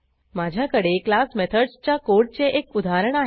माझ्याकडे क्लास मेथडसच्य कोडचे एक उदाहरण आहे